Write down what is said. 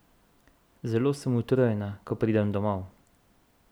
Zelo sem utrujena, ko pridem domov.